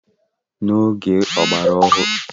n'ọgbọ ọgbara ọhụrụ a, elekere aka na-enyere aka ịka oge